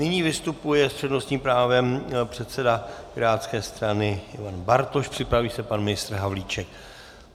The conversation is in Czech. Nyní vystupuje s přednostním právem předseda pirátské strany Ivan Bartoš, připraví se pan ministr Havlíček.